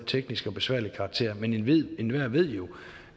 teknisk besværlig karakter men enhver ved jo